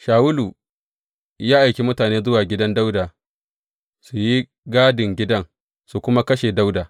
Shawulu ya aiki mutane zuwa gidan Dawuda su yi gadin gidan, su kuma kashe Dawuda.